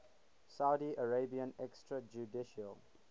saudi arabian extrajudicial